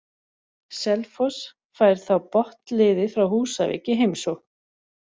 Selfoss fær þá botnliðið frá Húsavík í heimsókn.